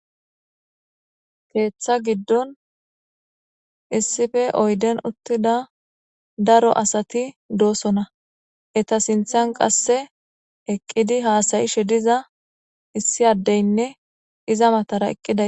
Ketha giddoni issipe oyideni utida daro assati dossona. Etta sinithani qasse eqidi hassayishe dizza isi addeyinne iza matara eqida...